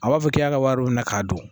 A b'a fɔ k'i y'a ka wari minɛ k'a don